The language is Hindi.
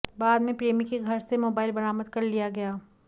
बाद में प्रेमी के घर से मोबाइल बरामद कर लिया गया